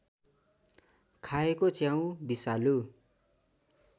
खाएको च्याउ विषालु